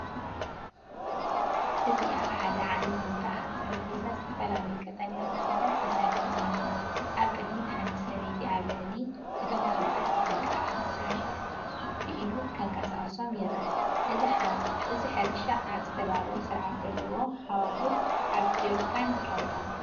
እዚ ኣብ ሓደ ዓቢ ቦታ ኣብ ጠረጴዛ ዝተፈላለዩ ቀጠልያ ተኽልታት ተሰሪዖም ኣለዉ። ኣብ ቅድሚት ሓንቲ ሰበይቲ ኣብ ልዕሊ እቶም ተኽልታት ብጥንቃቐ ክሰርሕ፡ብኢዱ ከንቀሳቕሶም ይረአ። እዚ ሕርሻ ኣብ ዝተዳለወን ስርዓት ዘለዎን ሃዋህው ኣብ ጀሪካን ይካየድ ኣሎ።